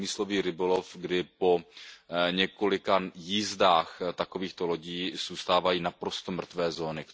průmyslový rybolov, kdy po několika jízdách takovýchto lodí zůstávají naprosto mrtvé zóny.